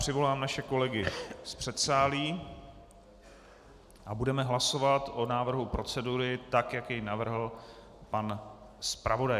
Přivolám naše kolegy z předsálí a budeme hlasovat o návrhu procedury tak, jak ji navrhl pan zpravodaj.